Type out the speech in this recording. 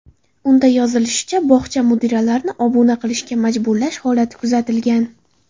Unda yozilishicha, bog‘cha mudiralarini obuna qilishga majburlash holati kuzatilgan.